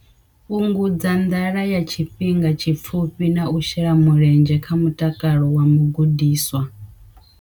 Fhungudza nḓala ya tshifhinga tshipfufhi na u shela mulenzhe kha mutakalo wa mugudiswa.